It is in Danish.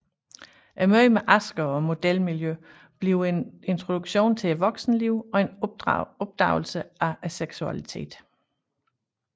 Mødet med Asger og modelmiljøet bliver en introduktion til voksenlivet og en opdagelse af seksualiteten